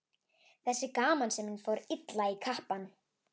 Þessi gamansemi fór illa í kappann.